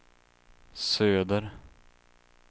söder